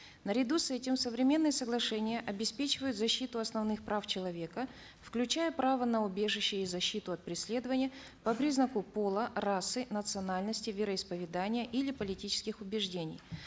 наряду с этим современные соглашения обеспечивают защиту основных прав человека включая право на убежище и защиту от преследования по признаку пола расы национальности вероисповедания или политических убеждений